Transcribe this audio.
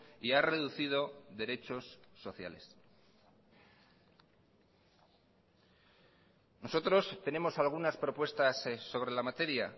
y ha reducido derechos sociales nosotros tenemos algunas propuestas sobre la materia